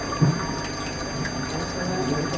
আচ্ছা ভাইয়া আপনার সাথে কথা বলে ভাল লাগলো